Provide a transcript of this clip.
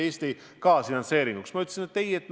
Eesti kaasfinantseeringuks pandi 45%.